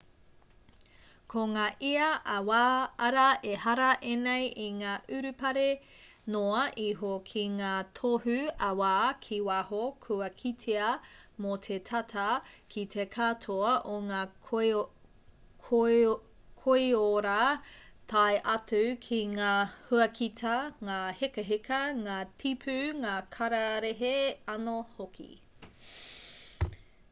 ko ngā ia ā-wā arā ehara ēnei i ngā urupare noa iho ki ngā tohu ā-wā ki waho kua kitea mō te tata ki te katoa o ngā koiora tae atu ki ngā huakita ngā hekaheka ngā tipu ngā kararehe anō hoki